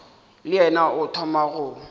le yena o thoma go